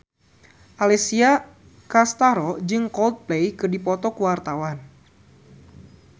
Alessia Cestaro jeung Coldplay keur dipoto ku wartawan